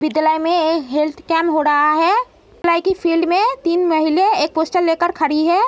विद्यालय में एक हेल्थ कैंप हो ड़हा है। की फील्ड में तीन महिलें एक पोस्टर लेकर खड़ीं हैं।